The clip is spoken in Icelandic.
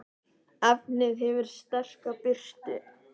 efnið hefur sterka birtu